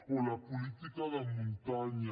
o la política de muntanya